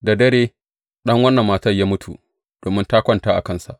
Da dare ɗan wannan matan ya mutu domin ta kwanta a kansa.